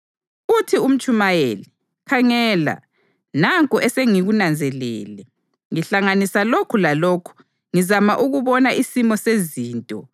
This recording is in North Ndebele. Uthi uMtshumayeli, “Khangela, nanku esengikunanzelele: Ngihlanganisa lokhu lalokhu ngizama ukubona isimo sezinto